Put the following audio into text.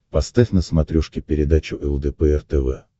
поставь на смотрешке передачу лдпр тв